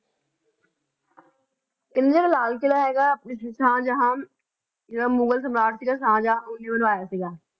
ਕਹਿੰਦੇ ਲਾਲ ਕਿਲ੍ਹਾ ਹੈਗਾ ਆਪਣੇ ਸ਼ਾਹਜਹਾਂ ਜਿਹੜਾ ਮੁਗਲ ਸਮਰਾਟ ਸੀਗਾ ਸ਼ਾਹਜਹਾਂ ਉਹਨੇ ਬਣਵਾਇਆ ਸੀਗਾ।